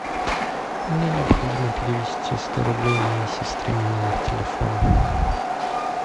мне необходимо перевести сто рублей моей сестре на номер телефона